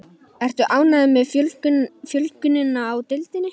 Ertu ánægður með fjölgunina í deildinni?